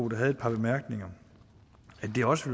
der havde par bemærkninger at det også